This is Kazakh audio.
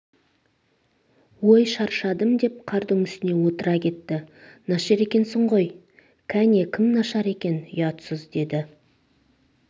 ой шаршадым деп қардың үстне отыра кетті нашар екенсің ғой кәне кім нашар екен ұятсыз деді